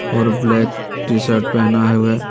और black T shirt पहना है वह--